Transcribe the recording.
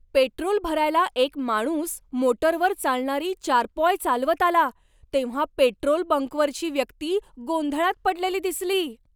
Petrol भरायला एक माणूस मोटरवर चालणारी चारपॉय चालवत आला तेव्हा पेट्रोल बंकवरची व्यक्ती गोंधळात पडलेली दिसली.